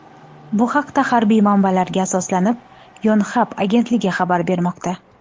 Bu haqda, harbiy manbalarga asoslanib, Yonhap agentligi xabar bermoqda .